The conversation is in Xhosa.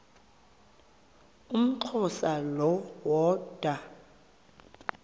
umxhosa lo woda